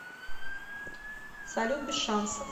салют без шансов